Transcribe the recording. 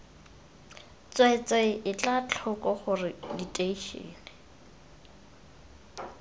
tsweetswee etla tlhoko gore diteišene